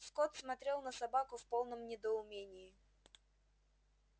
скотт смотрел на собаку в полном недоумении